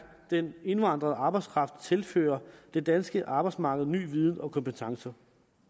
den indvandrede arbejdskraft tilfører det danske arbejdsmarked ny viden og nye kompetencer